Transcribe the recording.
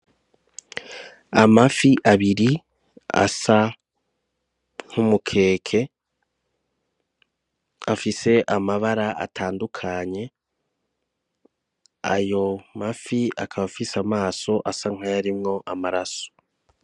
Amafi abiri asa nk'umukeke afise amabara atandukanye ayo mafi akaba afise amaso asa nkayarimwo amaraso.